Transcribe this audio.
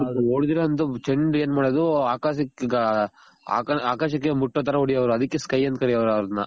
ಅದು ಹೊದೆದಿರೋ ಅಂತ ಚೆಂಡ್ ಏನ್ ಮಾಡೋದು ಆಕಾಶಕ್ಕೆ ಮುಟ್ಟೋ ತರ ಹೊಡೆಯವರು ಅದಕ್ಕೆ sky ಅಂತ ಕರೆಯೋರು ಅವರ್ನ